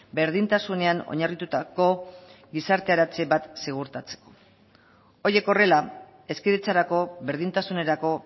berdintasunean oinarritutako gizarteratze bat ziurtatzeko horiek horrela hezkidetzarako berdintasunerako